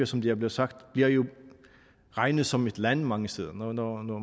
som det er blevet sagt bliver regnet som et land mange steder når når